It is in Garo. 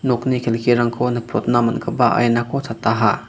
nokni kelkirangko nikprotna man·gipa ainako chataha.